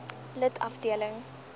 lid afdeling h